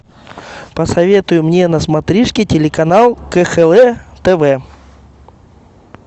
посоветуй мне на смотришке телеканал кхл тв